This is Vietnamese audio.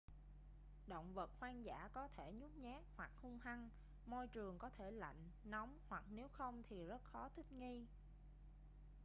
động vật hoang dã có thể nhút nhát hoặc hung hăng môi trường có thể lạnh nóng hoặc nếu không thì rất khó thích nghi